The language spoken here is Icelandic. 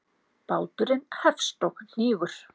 Báturinn hefst og hnígur.